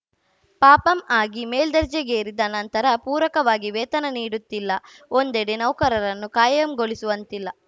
ಪಾಪಂ ಆಗಿ ಮೇಲ್ದೆರ್ಜೆಗೇರಿದ ನಂತರ ಪೂರಕವಾಗಿ ವೇತನ ನೀಡುತ್ತಿಲ್ಲ ಒಂದೆಡೆ ನೌಕರರನ್ನು ಕಾಯಂಗೊಳಿಸುವಂತ್ತಿಲ್ಲ